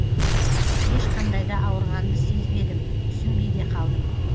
ешқандай да ауырғанды сезбедім түсінбей де қалдым